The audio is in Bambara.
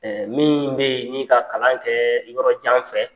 min bɛ yen ni ka kalankɛ yɔrɔ jan fɛ